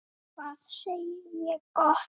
Hvað segi ég gott?